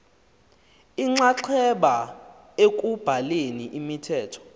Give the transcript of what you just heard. inxaxheba ekubhaleni imithetho